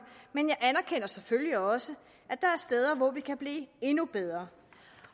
men jeg anerkender selvfølgelig også at der er steder hvor vi kan blive endnu bedre